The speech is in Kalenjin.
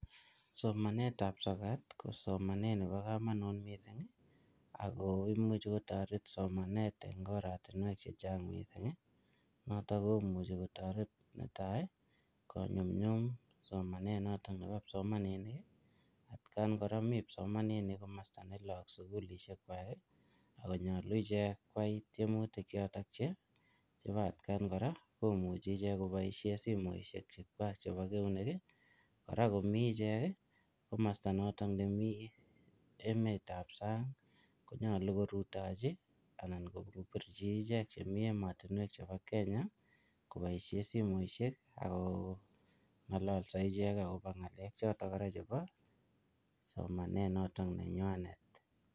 Somanetab sokat ko somanet nebo kamonut mising' ako imuchi kotoret somanet eng' oratinwek chechang' mising' noto komuchi kotoret netai konyumyum somanet noto nebo kipsomaninik at kan kora mi kipsomaninik komosta ne loo ak sukulishek chekwai akonyolu ichek kwai tiemutik choto chebo atkan kora komuchi ichek koboishe simoishek chekwach chebo keunek kora komi ichek komosta noto nemi emetab sang' konyolu korutochi anan kobirchi iche chemi emotinwek chebo Kenya koboishe simoishek ako ng'ololso ichek akobo ng'alek choto kora chebo somanet noto nenywanet